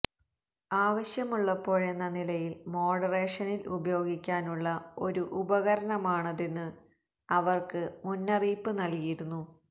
ആവശ്യമുള്ളപ്പോഴെന്ന നിലയിൽ മോഡറേഷനിൽ ഉപയോഗിക്കാനുള്ള ഒരു ഉപകരണമാണതെന്ന് അവർക്ക് മുന്നറിയിപ്പ് നൽകിയിരുന്നു